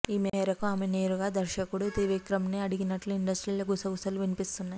ఈ మేరకు ఆమె నేరుగా దర్శకుడు త్రివిక్రమ్ నే అడిగినట్లు ఇండస్ట్రీలో గుసగుసలు వినిపిస్తున్నాయి